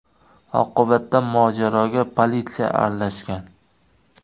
Oqibatda mojaroga politsiya aralashgan.